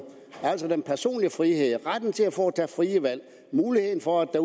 altså at den personlige frihed retten til at foretage frie valg muligheden for at